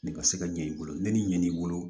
Ne ka se ka ɲɛ i bolo ne ni ɲɛ b'i bolo